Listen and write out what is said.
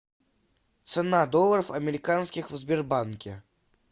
цена долларов американских в сбербанке